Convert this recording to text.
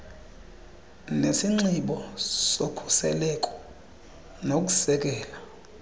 nesinxibo sokhuseleko nokusekela